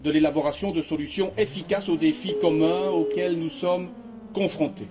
de l'élaboration de solutions efficaces aux défis communs auxquels nous sommes confrontés.